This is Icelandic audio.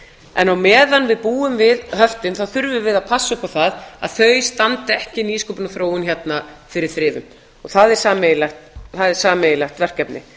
en á meðan við búum við höftin þá þurfum við að passa upp á það að þau standi ekki nýsköpunarþróun hérna fyrir þrifum það er sameiginlegt verkefni